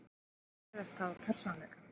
Þau virðast hafa persónuleika.